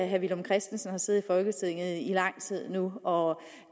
herre villum christensen har siddet i folketinget i lang tid nu og